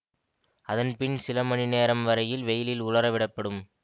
அதன் பின் சில மணி நேரம் வரையில் வெயிலில் உலரவிடப்படும்